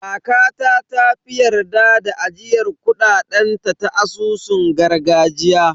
Kakata ta fi yarda da ajiyar kuɗaɗen ta a asusun gargajiya.